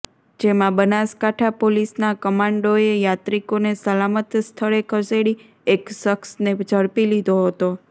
જેમાં બનાસકાંઠા પોલીસના કમાન્ડોએ યાત્રિકોને સલામત સ્થળે ખસેડી એક શખ્સને ઝડપી લીધો હતો